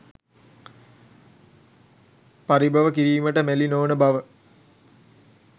පරිභව කිරීමට මැලි නොවන බව